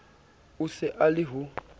o se a le ho